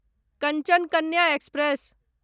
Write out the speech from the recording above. Kanchan Kanya express